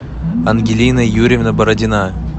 ангелина юрьевна бородина